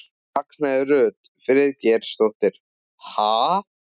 Ragnheiður Rut Friðgeirsdóttir: Ha?